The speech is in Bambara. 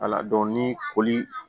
Ala dɔn ni koli